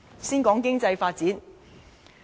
先談經濟發展。